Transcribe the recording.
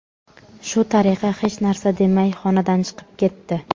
Shu tariqa hech narsa demay xonadan chiqib ketdi.